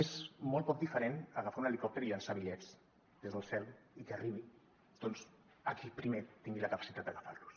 és molt poc diferent a agafar un helicòpter i llançar bitllets des del cel i que arribi doncs a qui primer tingui la capacitat d’agafar los